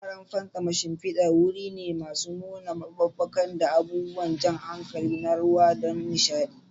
Wuraren fantsama shimfidar wuri ne masu nuna maɓuɓɓuka da abubuwan jan hankali na ruwa don nishaɗi.